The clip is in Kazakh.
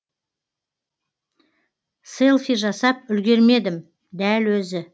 селфи жасап үлгермедім дәл өзі